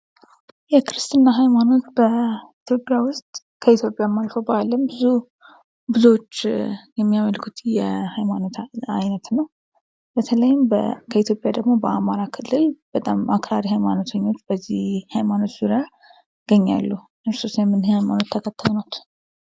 የክርስትና ሀይማኖት በኢትዮጵያ ውስጥ ከኢትዮጵያም አልፎ በአለም ብዙዎች የሚያመልኩት የሀይማኖት አይነት ነው። በተለይም ከኢትዮጵያ ደግሞ በአማራ ክልል በጣም አክራሪ ሀይማኖተኞች በዚህ ሀይማኖት ዙሪያ ይገኛሉ። እርሶስ የምን ሀይማኖት ተከታይ ኖት?